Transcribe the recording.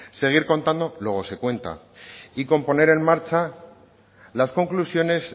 seguir contando luego se cuenta y con poner en marcha las conclusiones